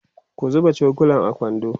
ku zuba cokulan a kwando